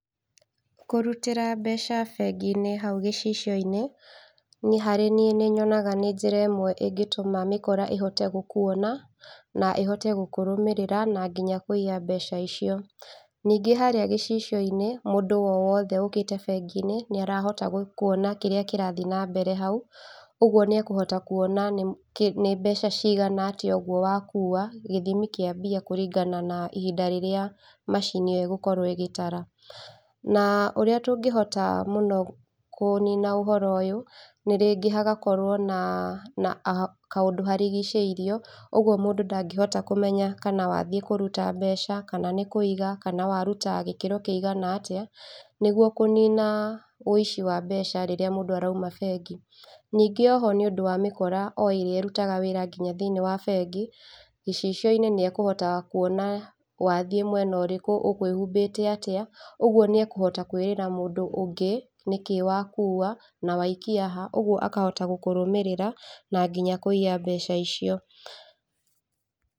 Kũrutĩra mbeca bengi-inĩ hau gĩcicio-inĩ, niĩ harĩ niĩ nĩnyonaga nĩ njĩra ĩmwe ĩngĩtũma mĩkora ĩngĩhota gũkuona na ĩhote gũkũrũmĩrĩra na nginya kũiya mbeca icio. Ningĩ harĩa gĩcicio-inĩ mũndũ owothe ũkĩta bengi-inĩ nĩarahota kwona kĩrĩa kĩrathiĩ nambere hau, ũguo nĩekũhota kwona nĩ kĩ nĩ mbeca cigana atĩa ũguo wakuwa gĩthimi kĩa mbia kũringana na ihinda rĩrĩa macini ĩyo ĩgũkorwo ĩgĩtara. Na ũrĩa tũngĩhota mũno kũnina ũhoro ũyũ, nĩ rĩngĩ hagakorwo na na a kaũndũ harigicĩirio, ũguo mũndũ ndangĩhota kũmenya kana wathiĩ kũruta mbeca kana nĩ kũiga, kana waruta gĩkĩro kĩigana atĩa nĩguo kũnina ũici wa mbeca rĩrĩa mũndũ arauma bengi. Ningĩ oho nĩũndũ wa mĩkora oĩrĩa ĩrutaga wĩra thĩinĩ wa bengi, gĩcicio-inĩ nĩekũhota kuona wathiĩ mwena ũrĩkũ, ũkwĩhumbĩte atĩa, ũguo nĩekũhota kwĩrĩra mũndũ ũngĩ nĩkĩĩ wakuwa na waikia ha, ũguo akahota gũkũrũmĩrĩra na nginya kũiya mbeca icio.